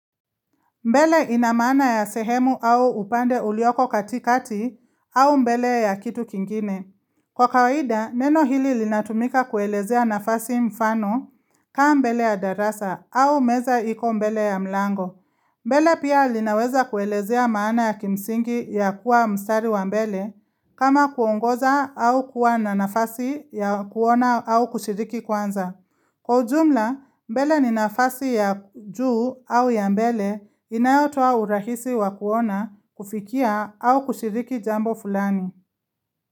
Mbele ina maana ya sehemu au upande ulioko katikati au mbele ya kitu kingine. Kwa kawaida, neno hili linatumika kuelezea nafasi mfano kaa mbele ya darasa au meza iko mbele ya mlango. Mbele pia linaweza kuelezea maana ya kimsingi ya kuwa mstari wa mbele kama kuongoza au kuwa na nafasi ya kuona au kushiriki kwanza. Kwa ujumla, mbele ni nafasi ya juu au ya mbele inayotoa urahisi wa kuona kufikia au kushiriki jambo fulani.